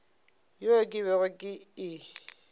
yeo ke bego ke e